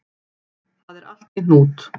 Það er allt í hnút